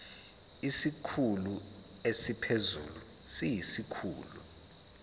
isikhulu esiphezulu siyisikhulu